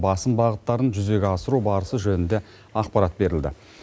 басым бағыттарын жүзеге асыру барысы жөнінде ақпарат берілді